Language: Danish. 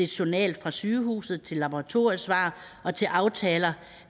journal fra sygehuset til laboratoriesvar og til aftaler